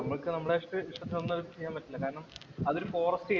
നമ്മക്ക് നമ്മളായിട്ടു ഒന്നും ചെയ്യാന്‍ പറ്റില്ല. കാരണംഅതൊരു ഫോറസ്റ്റ് ഏരിയ